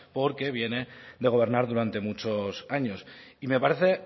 porque viene de gobernar durante muchos años y me parece